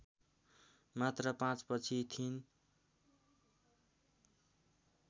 मात्र पाँचपछि थिइन्